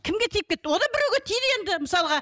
кімге тиіп кетті ол да біреуге тиді енді мысалға